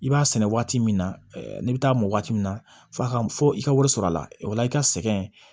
I b'a sɛnɛ waati min na n'i bɛ taa mɔ waati min na fɔ a ka fɔ i ka wari sɔrɔ a la o la i ka sɛgɛn